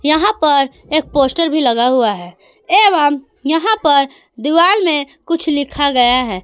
यहां पर एक पोस्ट भी लगा हुआ है एवं यहां पर दीवाल में कुछ लिखा गया है।